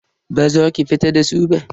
Baza ki fita da su ba.